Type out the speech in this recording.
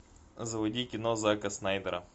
заводи кино зака снайдера